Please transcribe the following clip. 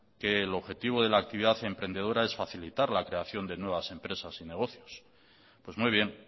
que el objetivo de actividad emprendedora es facilitar la creación de nuevas empresas y negocios pues muy bien